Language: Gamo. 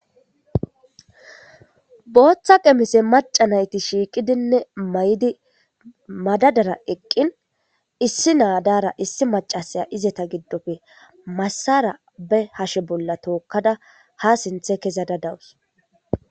Booththa qemise maca nayti shiiqidinne mayidi madadara eqqin issi maraara issi macasaya izeta giddoppe massara be'ahashe bolla tookkada ha sinthe kezada dawus